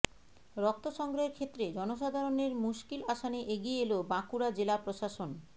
রক্ত সংগ্রহের ক্ষেত্রে জনসাধারণের মুশকিল আসানে এগিয়ে এল বাঁকুড়া জেলা প্রশাসন